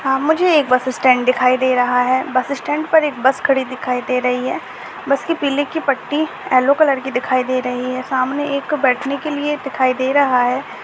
यह मुझे एक बस स्टैंड दिखाई दे रहा है बस स्टेंड पर एक बस खड़ी दिखाई दे रही है बस के पीले की पट्टी यल्लो कलर की दिखाई दे रही है सामने एक बैठने के लिए दिखाई दे रहा है।